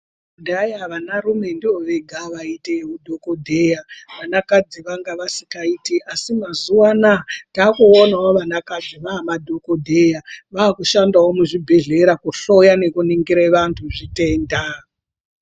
Kudhaya vanarume ndovega vaite madhokodheya vanakadzi vanga vasingaiti asi mazuwa anaya takuonai vanakadzi vanadhokodheya vakushandawo muzvibhedhleya kuhloya nekuningira antu zvitenda.